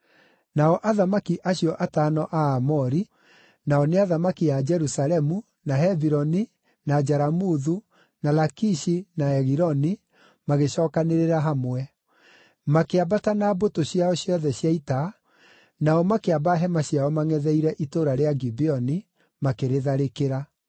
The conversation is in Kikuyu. Nao athamaki acio atano a Aamori, nao nĩ athamaki a Jerusalemu, na Hebironi, na Jaramuthu, na Lakishi, na Egiloni, magĩcookanĩrĩra hamwe. Makĩambata na mbũtũ ciao ciothe cia ita, nao makĩamba hema ciao mangʼetheire itũũra rĩa Gibeoni, makĩrĩtharĩkĩra.